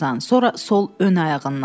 sonra sol ön ayağından.